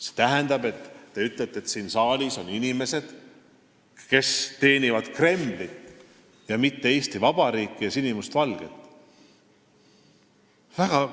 See tähendab, te ütlete, et siin saalis on inimesi, kes teenivad Kremlit, mitte Eesti Vabariiki ja sinimustvalget.